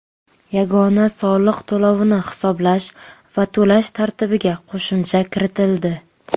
Yagona soliq to‘lovini hisoblash va to‘lash tartibiga qo‘shimcha kiritildi.